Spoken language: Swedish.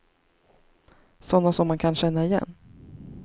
Sådana som man kan känna igen.